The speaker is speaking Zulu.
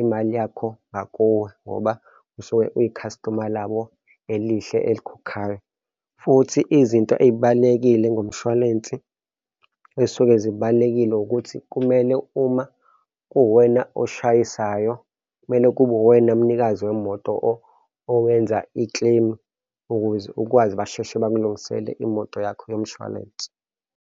imali yakho ngakuwe ngoba usuke uyi-customer labo elihle elikhokhayo. Futhi izinto ey'balulekile ngomshwalense, ey'suke zibalulekile ukuthi kumele uma kuwuwena oshayisayo, kumele kube uwena mnikazi wemoto owenza i-claim ukuze ukwazi basheshe bakulungisele imoto yakho yomshwalense.